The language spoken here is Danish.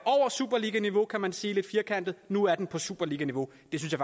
superliganiveau kan man sige lidt firkantet at nu er den på superliganiveau